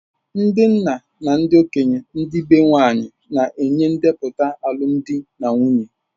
Ndị nna na ndị okenye ndi be nwanyị na-enye ndepụta alụmdi na nwunye.